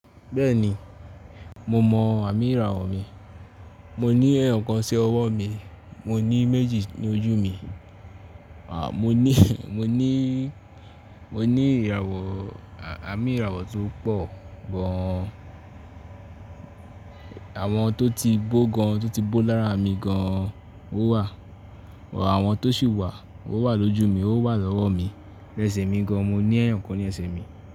Bẹ́ẹ̀ni, mo mọ àmì ìràwọ̀ mi. Mo ní ẹ́yo kan sí ọwọ́ mi, mo ní méjì ní ojú mi, à mo ní, mo ní, mo ní ìràwọ̀, àmi ìràwọ̀ tó pọ̀ gan-an. Àwọn tó ti gbógbo gan, tó ti gbó lára mi gan ó wà. Àwọn tó sì wà ó wà lójú mi, ó wà lọ́wọ́ mi. Ẹsẹ̀ mi gan, mo ní ẹ́ẹ̀yàn kan ní ẹsẹ̀ mi.